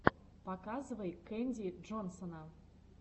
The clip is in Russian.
показывай кэнди джонсона